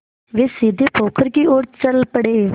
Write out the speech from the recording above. वे सीधे पोखर की ओर चल पड़े